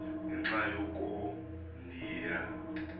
ngenxa yoko ndiya